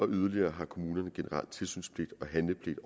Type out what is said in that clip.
yderligere har kommunerne generelt tilsynspligt og handlepligt